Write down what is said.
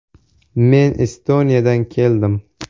Men Estoniyadan keldim.